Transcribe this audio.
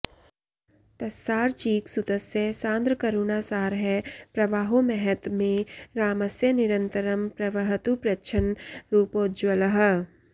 तस्सार्चीकसुतस्य सान्द्रकरुणासारः प्रवाहो महत् मे रामस्य निरन्तरं प्रवहतु प्रच्छन्न रूपोज्ज्वलः